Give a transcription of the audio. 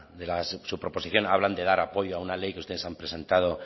de su proposición hablan de dar apoyo a una ley que ustedes han presentado